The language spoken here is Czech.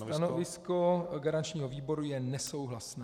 Stanovisko garančního výboru je nesouhlasné.